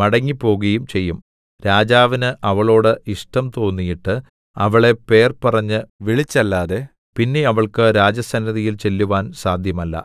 മടങ്ങിപ്പോകുകയും ചെയ്യും രാജാവിന് അവളോട് ഇഷ്ടം തോന്നിയിട്ട് അവളെ പേർ പറഞ്ഞു വിളിച്ചല്ലാതെ പിന്നെ അവൾക്ക് രാജസന്നിധിയിൽ ചെല്ലുവാൻ സാദ്ധ്യമല്ല